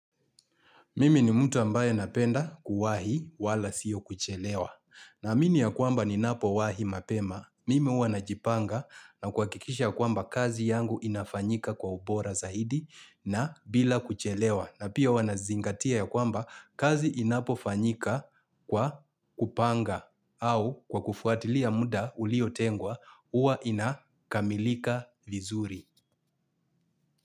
Mimi ni mtu ambaye napenda kuwahi wala siyo kuchelewa. Naamini ya kwamba ninapowahi mapema, mimi huwa najipanga na kuhakikisha ya kwamba kazi yangu inafanyika kwa ubora zaidi na bila kuchelewa. Na pia hua nazingatia ya kwamba kazi inapo fanyika kwa kupanga au kwa kufuatilia muda ulio tengwa huwa inakamilika vizuri.